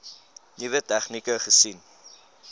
nuwe tegnieke gesien